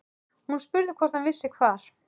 Hún spurði hvort hann vissi hvar